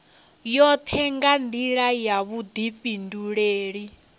yoṱhe nga nḓila ya vhuḓifhinduleli